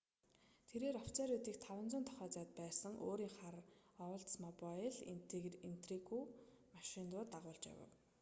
тэрээр офицеруудыг 500 тохойн зайд байсан өөрийн хар оулдсмобайл интригү машин руу дагуулж явав